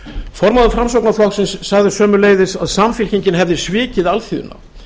formaður framsóknarflokksins sagði sömuleiðis að samfylkingin hefði svikið alþýðuna